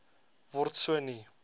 word so nie